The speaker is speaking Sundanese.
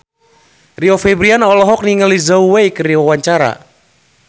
Rio Febrian olohok ningali Zhao Wei keur diwawancara